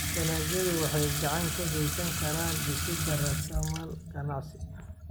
Dalagyadu waxay gacan ka geysan karaan dhisidda raasamaal ganacsi.